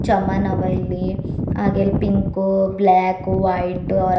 ಸಮಾನವ ಇಲ್ಲಿ ಹಾಗೆ ಇಲ್ಲಿ ಪಿಂಕು ಬ್ಲಾಕ್ ವೈಟ್ ಆ.